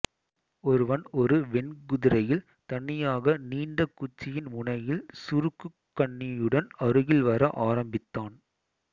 ஒருவன் ஒரு வெண் குதிரையில் தனியாக நீண்ட குச்சியின் முனையில் சுருக்குக் கண்ணியுடன் அருகில் வர ஆரம்பித்தான்